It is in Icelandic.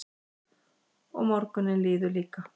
Og morgunninn líður líka.